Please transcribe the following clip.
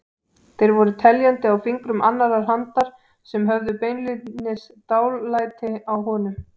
Þeir voru teljandi á fingrum annarrar handar sem höfðu beinlínis dálæti á honum.